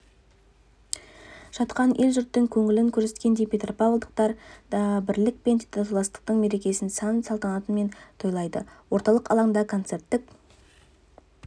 жатқан ел-жұрттың көңілін көрсеткендей петропавлдықтар да бірлік пен татулықтың мерекесін сән-салтанатымен тойлайды орталық алаңда концерттік